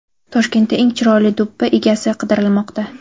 Toshkentda eng chiroyli do‘ppi egasi qidirilmoqda.